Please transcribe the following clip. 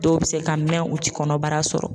Dɔw bɛ se ka mɛn u tɛ kɔnɔbara sɔrɔ.